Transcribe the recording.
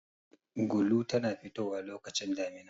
Gulu tana fitowa lokacin damina.